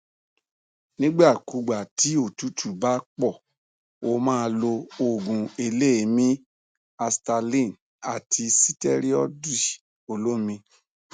nígbà kúùgbà tí òtútù bá pọ ó máa lo òògùn eléèémí i asthaline àti sítẹrọìdì olómi